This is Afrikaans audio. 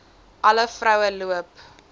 alle vroue loop